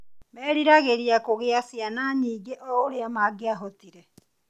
meriragĩria kũgĩa ciana nyingĩ oũrĩa mangĩahotire.